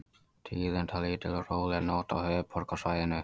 Tíðindalítil og róleg nótt á höfuðborgarsvæðinu